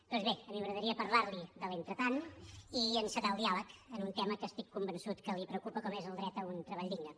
doncs bé a mi m’agradaria parlar li de l’entretant i encetar el diàleg amb un tema que estic convençut que li preocupa com és el dret a un treball digne